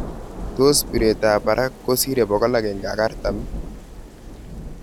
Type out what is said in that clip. Tos bireet ap barak kosire 140?.